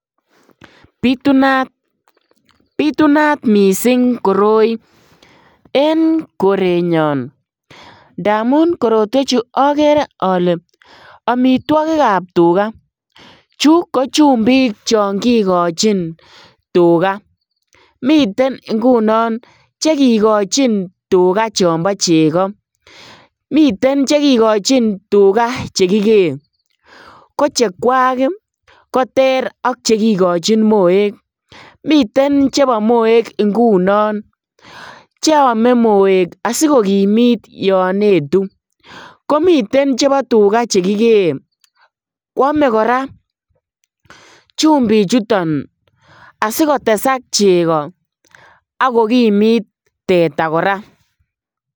Bitunat, bitunat missing' koroi en korenyoon ndamun korotwechu okere ole omitwogikab tugaa, chu ko chumbik chon kikochin tugaa miten ingunon chekikochin tugaa chombo cheko, miten chekikochin tugaa chekikee kochekwak ii koter ak chekikochin moek, miten chebo moek ingunon cheome moek asikokimit yon etu, komiten chebo tuga chekikee kwome koraa chumbichuton asikotesak cheko ak kokimit teta koraa.